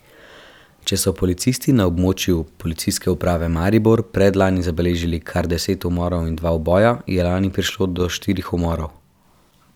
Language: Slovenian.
Če so policisti na območju Policijske uprave Maribor predlani zabeležili kar deset umorov in dva uboja, je lani prišlo do štirih umorov.